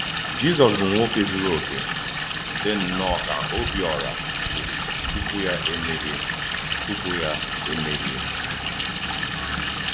Jízọs bụ̀ nwòké zuru òkè, dì nnọọ ka Òbíòrà zuru tupu yá eméhìè. tupu yá eméhìè.